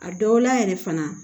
A dɔw la yɛrɛ fana